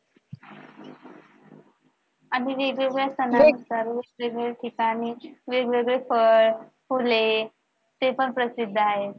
आधी वेगवेगळ्या सणांना वेगवेगळ्या ठिकाणी वेगवेगळ्या वेगवेगळे फळे-फुले ते पण प्रसिद्ध आहेत.